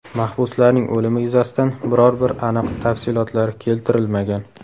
Mahbuslarning o‘limi yuzasidan biror bir aniq tafsilotlar keltirilmagan.